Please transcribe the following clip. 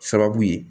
Sababu ye